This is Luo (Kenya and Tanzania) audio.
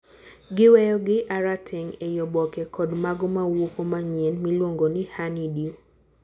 giweyo gi,a rateng ei oboke , kod mago mawuoko manyien miluongo ni 'honeydew'